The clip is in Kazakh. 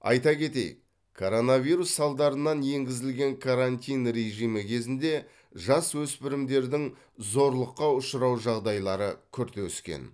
айта кетейік коронавирус салдарынан енгізілген карантин режимі кезінде жасөспірімдердің зорлыққа ұшырау жағдайлары күрт өскен